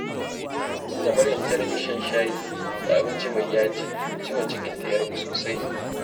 Tun da Maryam ta rage shan shayi da abinci mai yaji, ciwon cikinta ya ragu sosai.